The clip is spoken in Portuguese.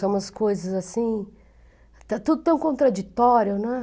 São umas coisas assim... Está tudo tão contraditório, né?